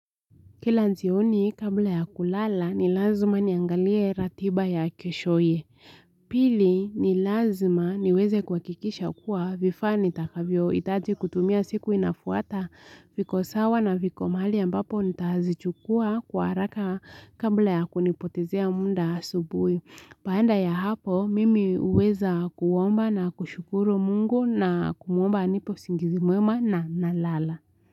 Kila jioni kabla ya kulala ni lazima niangalie ratiba ya keshoye. Pili ni lazima niweze kuhakikisha kuwa vifaa nitakavyo hitaji kutumia siku inafuata viko sawa na viko mahali ambapo nitazichukua kwa haraka kabla ya kunipotezea muda asubuhi. Baada ya hapo mimi huweza kuomba na kushukuru mungu na kumwomba anipe usingizi mwema na nalala.